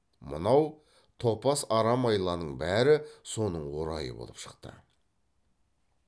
мынау топас арам айланың бәрі соның орайы болып шықты